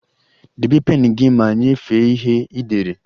Debe pen gị ma nyefee ihe ị dere!